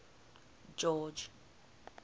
george